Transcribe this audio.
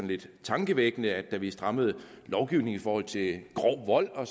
lidt tankevækkende at man da vi strammede lovgivningen i forhold til grov vold og